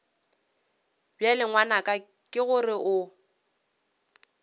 bjale ngwanaka ke gore o